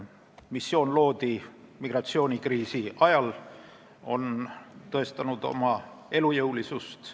Missioon loodi migratsioonikriisi ajal ja on tõestanud oma elujõulisust.